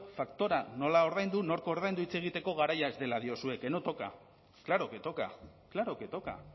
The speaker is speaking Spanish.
faktura nola ordaindu nork ordaindu hitz egiteko garaia ez dela diozue que no toca claro que toca claro que toca